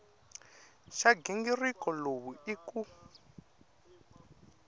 xa nghingiriko lowu i ku